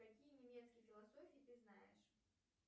какие немецкие философии ты знаешь